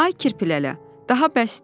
“Ay kirpilələ, daha bəsdir.